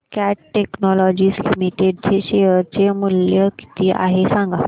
आज cat technologies limited चे share चे मूल्य किती आहे सांगा